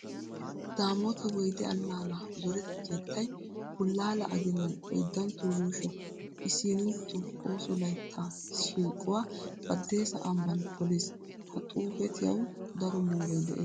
Daamoota Woyde allaana zoreta keettay bullaala aginan oyddantto yuusho isiinintto ooso layttaa shiiquwa Baddeesa ambban poliis. Ha xuufetiyawu daro mooroy de'es.